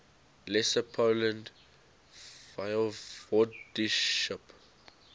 lesser poland voivodeship